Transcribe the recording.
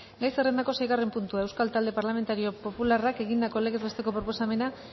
gai zerrendako seigarren puntua euskal talde parlamentario popularrak egindako legez besteko proposamena